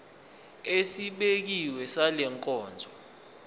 esibekiwe sale nkonzo